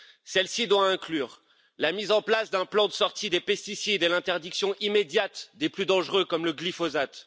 Cette politique doit inclure la mise en place d'un plan de sortie des pesticides et l'interdiction immédiate des plus dangereux, comme le glyphosate